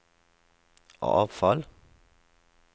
avfall